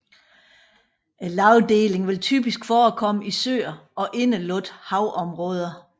Lagdelingen vil typisk forekomme i søer og indelukkede havområder